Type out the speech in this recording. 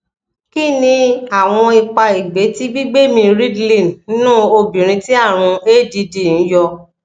kí ni awon ipa egbe ti gbigbemi ridlin nnu obìnrin tí àrùn add ń yọ